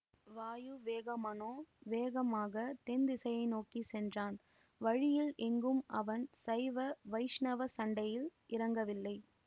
வாயு வேக மனோ வேகமாகத் தென்திசையை நோக்கி சென்றான் வழியில் எங்கும் அவன் சைவ வைஷ்ணவச் சண்டையில் இறங்கவில்லை